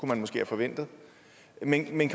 man måske have forventet men kan